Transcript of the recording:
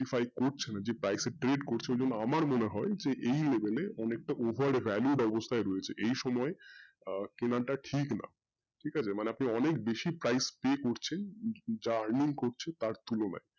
যে আমার মনে হয় যে এই অনেটা over value অবস্থায় রয়েছে এই সময়ে আহ কেনাটা ঠিক না ঠিক আছে? মানে আপনি অনেক বেশি price pay করছেন যা earning করছেন তার তুলনায়।